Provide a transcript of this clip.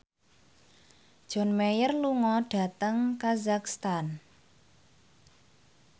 John Mayer lunga dhateng kazakhstan